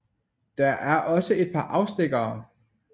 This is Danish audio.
Der er også et par afstikkere